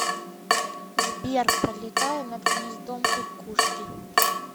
сбер пролетая над гнездом кукушки